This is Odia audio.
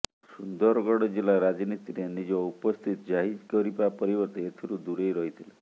ସୁନ୍ଦରଗଡ଼ ଜିଲ୍ଲା ରାଜନୀତିରେ ନିଜ ଉପସ୍ଥିତି ଜାହିର କରିବା ପରିବର୍ତ୍ତେ ଏଥିରୁ ଦୂରେଇ ରହିଥିଲେ